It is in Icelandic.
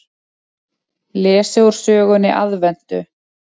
Lesið úr sögunni Aðventu.